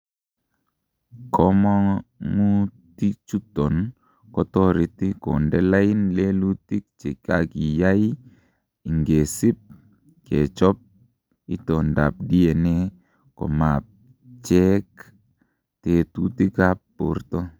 Komong'utichuton kotoreti konde lain lelutik chekakiyai ingesib kechob itondab DNA komapcheak tekutikab borto.